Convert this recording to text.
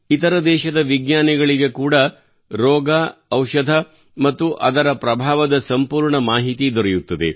ಇತರ ದೇಶಗಳ ವಿಜ್ಞಾನಿಗಳಿಗೆ ಕೂಡಾ ರೋಗ ಔಷಧ ಮತ್ತು ಅದರ ಪ್ರಭಾವದ ಸಂಪೂರ್ಣ ಮಾಹಿತಿ ದೊರೆಯುತ್ತದೆ